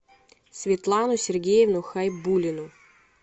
светлану сергеевну хайбуллину